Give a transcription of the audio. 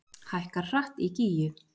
Hækkar hratt í Gígju